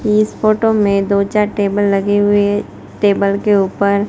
इस फोटो में दो चार टेबल लगे हुए टेबल के ऊपर--